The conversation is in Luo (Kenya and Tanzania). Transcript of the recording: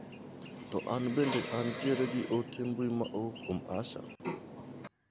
To an bende an tiere gi ote mbui ma owuok kuom Asha?